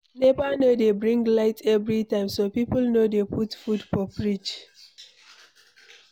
NEPA no dey bring light everytime, so people no dey put food for fridge